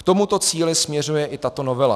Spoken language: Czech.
K tomuto cíli směřuje i tato novela.